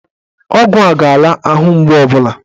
Ọgwụ a ga-ala ahụ mgbu ọbụla